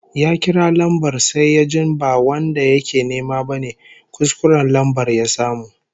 Ya kira lambar sai yajin ba wanda yake nema bane, kuskuren lambar ya samu